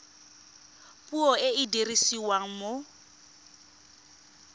puo e e dirisiwang mo